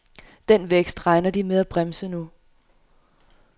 Den vækst regner de med at bremse nu.